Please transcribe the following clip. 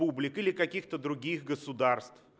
бублик или каких-то других государств